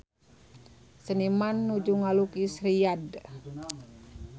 Seniman nuju ngalukis Riyadh